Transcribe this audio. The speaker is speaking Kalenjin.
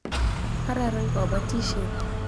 Kararan kabatishet.